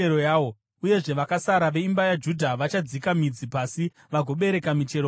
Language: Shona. Uyezve vakasara veimba yaJudha vachadzika midzi pasi vagobereka michero pamusoro.